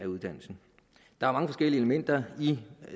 uddannelsen der er mange forskellige elementer i